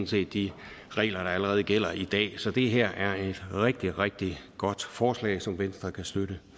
set de regler der allerede gælder i dag så det her er et rigtig rigtig godt forslag som venstre kan støtte